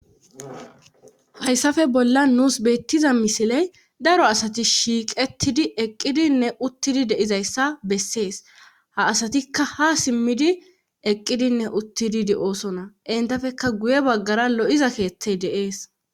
Hayssafe bolla nuus beettiza misiley daro asati shiiqettidi eqqidinne uttidi deizayssa bessees ha asatikka ha simmidi eqqidinne uttididi oosona intafeka guye baggara lo7iza keeththey de7ees